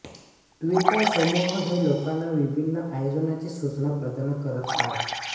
Twitter समूह हे लोकांना विभिन्न आयोजनांची सूचना प्रदान करत आहेत